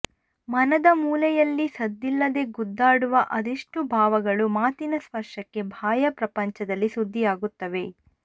ಮನದ ಮೂಲೆಯಲ್ಲಿ ಸದ್ದಿಲ್ಲದೇ ಗುದ್ದಾಡುವ ಅದೆಷ್ಟು ಭಾವಗಳು ಮಾತಿನ ಸ್ಪರ್ಶಕ್ಕೆ ಬಾಹ್ಯ ಪ್ರಪಂಚದಲ್ಲಿ ಸುದ್ದಿಯಾಗುತ್ತವೆ